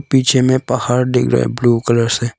पीछे में पहाड़ दिख रहे हैं ब्लू कलर से।